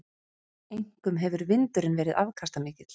Einkum hefur vindurinn verið afkastamikill.